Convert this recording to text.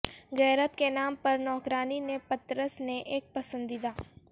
غیرت کے نام پر نوکرانی نے پطرس نے ایک پسندیدہ